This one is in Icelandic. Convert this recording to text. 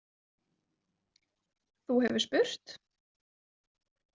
Þú hefur spurt?